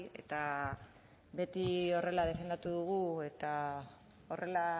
eta beti horrela defendatu dugu eta horrela